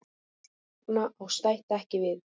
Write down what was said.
Þarna á stætt ekki við.